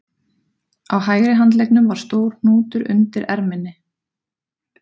Á hægri handleggnum var stór hnútur undir erminni